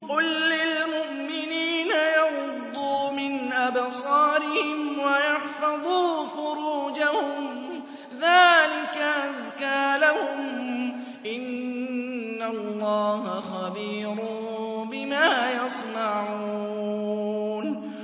قُل لِّلْمُؤْمِنِينَ يَغُضُّوا مِنْ أَبْصَارِهِمْ وَيَحْفَظُوا فُرُوجَهُمْ ۚ ذَٰلِكَ أَزْكَىٰ لَهُمْ ۗ إِنَّ اللَّهَ خَبِيرٌ بِمَا يَصْنَعُونَ